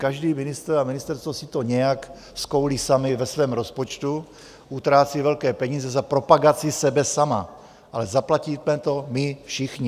Každý ministr a ministerstvo si to nějak skoulí sami ve svém rozpočtu, utrácí velké peníze za propagaci sebe sama, ale zaplatíme to my všichni.